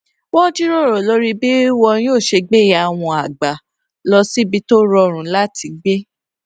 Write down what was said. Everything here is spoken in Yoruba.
wón jíròrò lórí bí wọn yóò ṣe gbé ìyá wọn àgbà lọ síbi tó rọrùn láti gbé